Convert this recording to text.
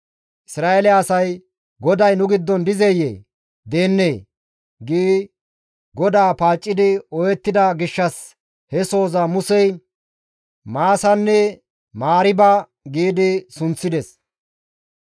Isra7eele asay, «GODAY nu giddon dizeyee? Deennee?» gi GODAA paaccidi ooyettida gishshas he sohoza Musey Maasanne Mariiba gi sunththides.